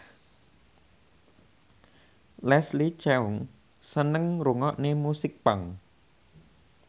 Leslie Cheung seneng ngrungokne musik punk